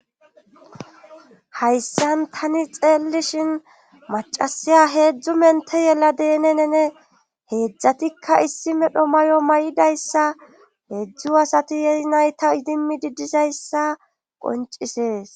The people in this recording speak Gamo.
hayssan tani xeellishin macasiya heedzdzu mente yela deenenene heedzdzatikka issi medho mayo may7idayssa heedzdzu asati yeri nayta idimi di dizayssa qoncisees